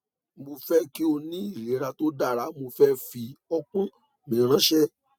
mo fẹ ki o ni ilera to dara mo fi ọpọn mi ranṣẹ